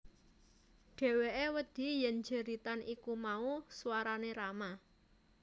Dheweke wedi yen jeritan iku mau swarane Rama